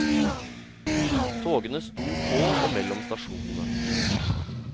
Togene sto på og mellom stasjonene.